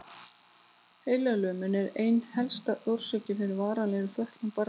Heilalömun er ein helsta orsökin fyrir varanlegri fötlun barna.